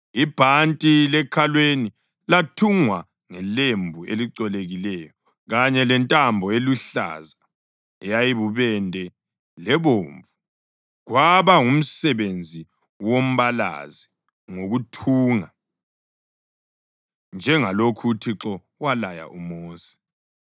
Ibhanti lekhalweni lathungwa ngelembu elicolekileyo kanye lentambo eluhlaza, eyibubende lebomvu, kwaba ngumsebenzi wombalazi ngokuthunga, njengalokhu uThixo walaya uMosi.